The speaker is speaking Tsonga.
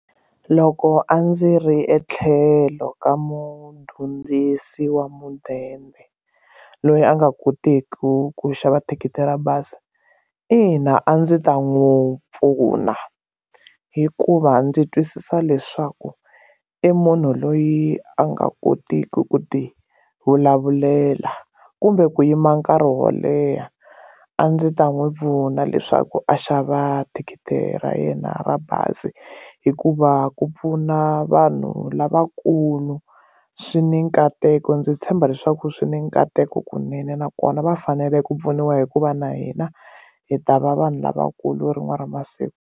Loko a ndzi ri etlhelo ka mudyondzisi wa mudende loyi a nga koteki ku ku xava thikithi ra bazi ina a ndzi ta n'wi pfuna hikuva ndzi twisisa leswaku i munhu loyi a nga kotiki ku ti vulavulela kumbe ku yima nkarhi wo leha a ndzi ta n'wi pfuna leswaku a xava thikithi ra yena ra bazi hi hikuva ku pfuna vanhu lavakulu swi ni nkateko ndzi tshemba leswaku swi ni nkateko kunene nakona va fanele ku pfuniwa hikuva na hina hi ta va vanhu lavakulu rin'we ra masiku.